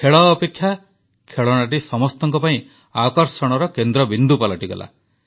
ଖେଳ ଅପେକ୍ଷା ଖେଳଣାଟି ସମସ୍ତଙ୍କ ପାଇଁ ଆକର୍ଷଣର କେନ୍ଦ୍ରବିନ୍ଦୁ ପାଲଟିଗଲା